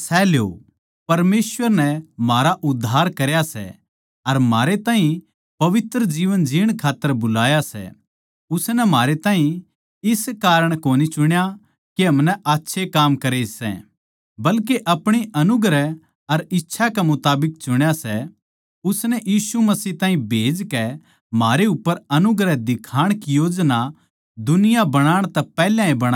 परमेसवर नै म्हारा उद्धार करया सै अर म्हारे ताहीं पवित्र जीवन जीण खात्तर बुलाया सै उसनै म्हारै ताहीं इस कारण कोनी चुण्या के हमनै आच्छे काम्मां करे सै बल्के आपणी अनुग्रह अर इच्छा के मुताबिक चुण्या सै उसनै मसीह ताहीं भेजकै म्हारे उप्पर अनुग्रह दिखाण की योजना दुनिया बणाण तै पैहले ए बणा ली थी